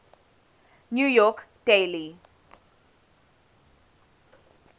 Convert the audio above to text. new york daily